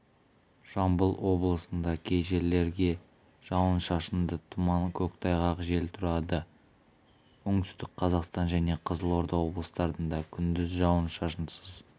жамбыл облысында кей жерлерде жауын-шашынды тұман көктайғақ жел тұрады оңтүстік қазақстан және қызылорда облыстарында күндіз жауын-шашынсыз